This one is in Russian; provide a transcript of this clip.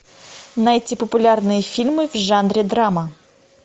найти популярные фильмы в жанре драма